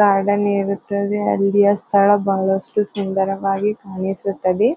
Garden ಇರುತ್ತದೆ. ಅಲ್ಲಿಯ ಸ್ಥಳ ಬಹಳಸ್ಟು ಸುಂದರವಾಗಿ ಕಾಣಿಸುತ್ತದೆ.